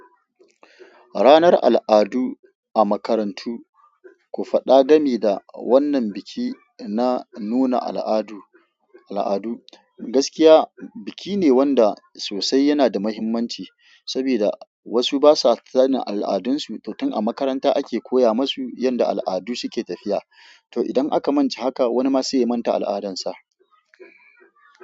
Ranar al'adu a makarantu, ku faɗa dame da wannan biki na nuna al'adu, al'adu. Gaskiya, biki ne wanda sosai yana da mahimmanci sabida wasu basa sanin al'adunsu, to tun a makaranta ake koya masu yadda al'adu suke tafiya. To idan aka manta haka wani ma zai manta al'adansa.